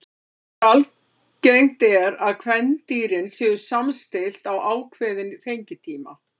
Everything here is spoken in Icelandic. Þar er algengt er að kvendýrin séu samstillt á ákveðinn fengitíma.